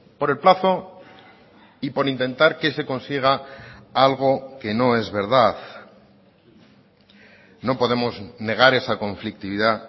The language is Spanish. por el plazo y por intentar que se consiga algo que no es verdad no podemos negar esa conflictividad